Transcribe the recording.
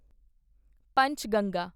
Panchganga